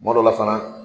Kuma dɔ la fana